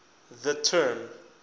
the term